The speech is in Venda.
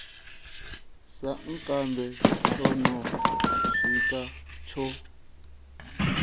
sankambe tsho no siwka tsho